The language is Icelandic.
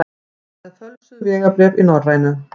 Með fölsuð vegabréf í Norrænu